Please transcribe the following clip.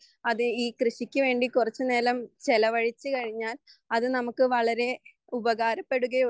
അത് ഈ കൃഷിക്കുവേണ്ടി കുറച്ചുനേരം ചിലവഴിച്ചുകഴിഞ്ഞാൽ അത് നമുക്ക് വളരെ ഉപകാരപ്പെടുകയൊള്ളു